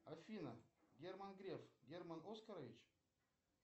афина герман греф герман оскарович